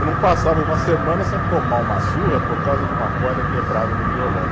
Eu não passava uma semana sem tomar uma surra por causa de uma corda quebrada do violão.